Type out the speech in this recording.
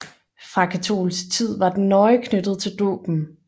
Fra katolsk tid var den nøje knyttet til dåben